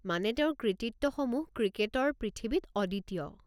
মানে তেওঁৰ কৃতিত্বসমূহ ক্ৰিকেটৰ পৃথিৱীত অদ্বিতীয়।